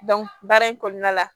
baara in kɔnɔna la